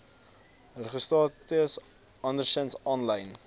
registrasiestatus andersins aanlyn